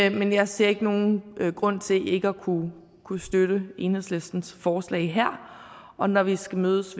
et men jeg ser ikke nogen grund til ikke at kunne kunne støtte enhedslistens forslag her og når vi skal mødes